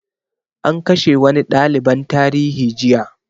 An kashe wani ɗaliban tarihi jiya